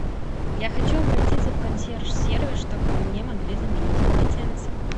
я хочу обратиться в консьерж сервис чтобы мне могли заменить полотенца